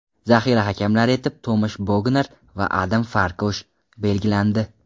Zaxira hakamlari etib Tomash Bognar va Adam Forkosh belgilandi.